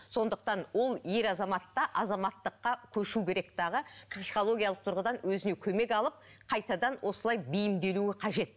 сондықтан ол ер азамат та азаматтыққа көшу керек дағы психологиялық тұрғыдан өзіне көмек алып қайтадан осылай бейімделуі қажет